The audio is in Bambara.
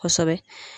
Kosɛbɛ